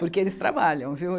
Porque eles trabalham, viu?